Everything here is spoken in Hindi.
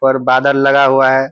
पर बादल लगा हुआ है --